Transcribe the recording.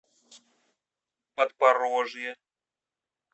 подпорожье